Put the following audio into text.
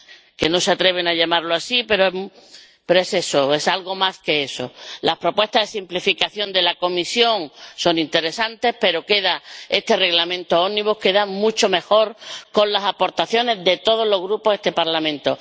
Que no se atreven a llamarla así, pero es eso, es algo más que eso. Las propuestas de simplificación de la Comisión son interesantes, pero este Reglamento Ómnibus queda mucho mejor con las aportaciones de todos los grupos de este Parlamento.